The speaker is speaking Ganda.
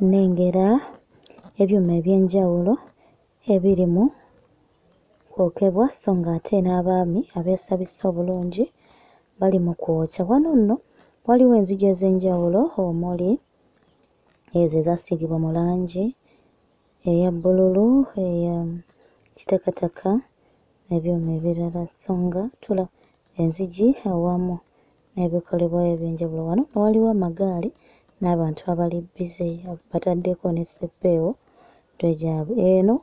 Nnengera ebyuma eby'enjawulo ebiri mu kwokebwa sso nga ate n'abaami abeesabise obulungi bali mu kwokya, wano nno waliwo enzigi ez'enjawulo omuli ezo ezaasigibwa mu langi eya bbululu, eya kitakataka n'ebyuma ebirala sanga tula enzigi awamu n'ebikolebwayo eby'enjawulo. Wano amagaali n'abantu abali busy bataddeko ne ssepeewo mitwe gyabwe, eno